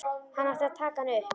Hann ætlar að taka hana upp.